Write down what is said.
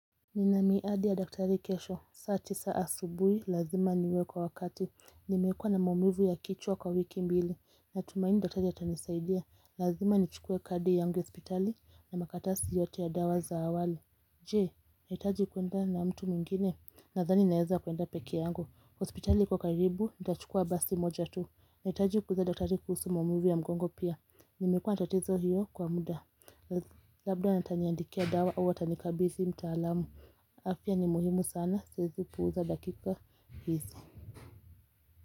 Nina miadi ya daktari kesho, saa tisa asubuhi, lazima niwe kwa wakati, nimekua na maumivu ya kichwa kwa wiki mbili, natumaini daktari atanisaidia, lazima nichukue kadi yangu hospitali, na makaratasi yote ya dawa za awali Jee nahitaji kuenda na mtu mwengine nadhani naeza kuenda pekee yangu Hospitali iko karibu nitachukua basi moja tu nahitaji kuuliza daktari kuhusu maumivu mgongo pia Nimekuwa na tatizo hiyo kwa muda Labda ataniandikia dawa au atanikabidhi mtaalamu afya ni muhimu sana siezi puuza dakika hizi.